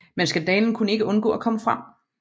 Men skandalen kunne ikke undgå at komme frem